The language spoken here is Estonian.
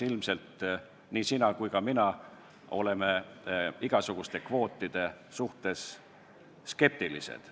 Ilmselt nii sina kui ka mina oleme igasuguste kvootide suhtes skeptilised.